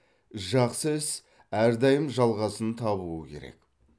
жақсы іс әрдайым жалғасын табуы керек